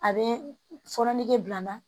A bɛ fɔɔnɔ nege bila n na